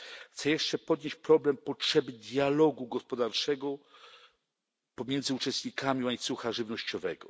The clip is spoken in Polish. Chcę jeszcze podnieść problem potrzeby dialogu gospodarczego pomiędzy uczestnikami łańcucha żywnościowego.